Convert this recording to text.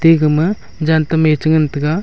ega ma jan tam me che ngan taiga.